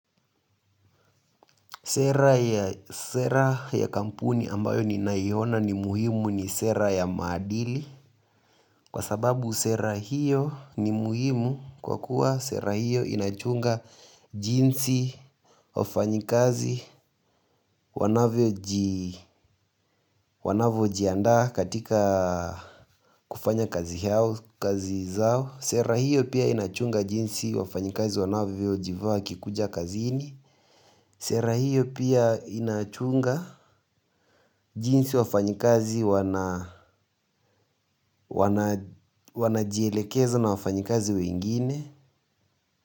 Sera ya kampuni ambayo ninaiona ni muhimu ni sera ya maadili. Kwa sababu sera hiyo ni muhimu kwa kuwa sera hiyo inachunga jinsi wafanyikazi wanavyo jianda katika kufanya kazi yao, kazi zao. Sera hiyo pia inachunga jinsi wafanyikazi wanavyo jivaa wakikuja kazini. Sera hiyo pia inachunga jinsi wafanyikazi wanajielekeza na wafanyikazi wengine.